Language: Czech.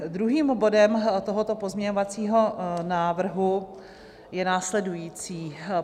Druhým bodem tohoto pozměňovacího návrhu je následující.